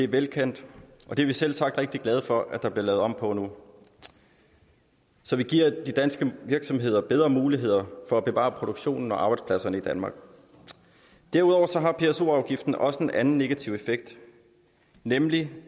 velkendt og det er vi selvsagt rigtig glade for at der bliver lavet om på nu så vi giver de danske virksomheder bedre muligheder for at bevare produktionen og arbejdspladserne i danmark derudover har pso afgiften også en anden negativ effekt nemlig